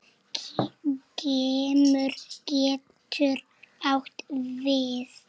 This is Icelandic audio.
Geimur getur átt við